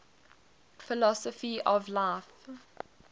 philosophy of life